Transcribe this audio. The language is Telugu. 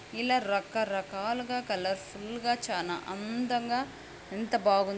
ఇలా రకరకాలుగా కలర్ ఫుల్ గా చానా అందంగా ఎంత బాగుంది.